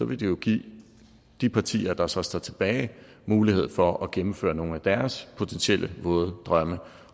vil det jo give de partier der så står tilbage mulighed for at gennemføre nogle af deres potentielle våde drømme